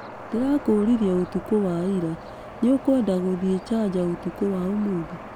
Ndĩrakũũririe ũtukũ wa ira. Nĩũkwenda gũthiĩ Charger ũtukũ wa ũmũthĩ?